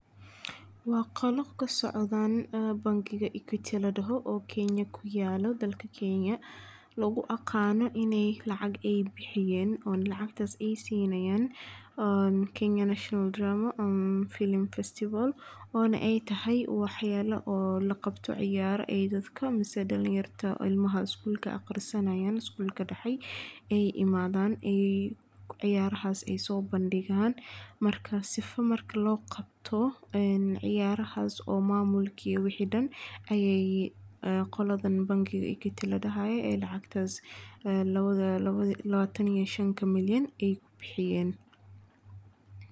Waa qolo kasocdo bankiga oo kuyaalo dalka kenya, oo lagu yaqaano inaay lacag bixiyaan, oo ilmaha iskuulka digto ciyaraha kasoo qeyb galaan, marka lacagtaas xaagaas ayeey ku bixiyeen.